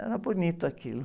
Era bonito aquilo.